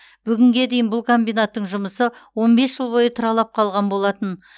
бүгінге дейін бұл комбинаттың жұмысы он бес жыл бойы тұралап қалған болатын